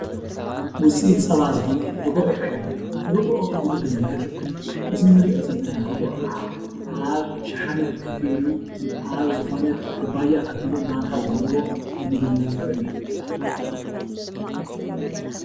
ዉፅኢት ፀባ ዝኾነ ርግኦ ይርአየኒ ኣሎ። ርግኦ ንምግብነት ይዉዕል። እዚ እንሪኦ ዘለና ርግኦ ከዓ ኣብ ሽሓነ ከፍ ኢሉ ኣብ ዝኾነት ኩባያ ከፍ ኢሉ ማንካ ዘለዎ ንምግብነት ዝዉዕል እዩ።